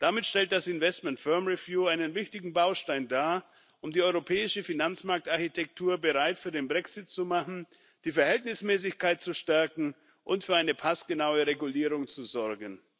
Damit stellt das investment firm review einen wichtigen Baustein dar, um die europäische Finanzmarktarchitektur bereit für den Brexit zu machen, die Verhältnismäßigkeit zu stärken und für eine passgenaue Regulierung zu sorgen.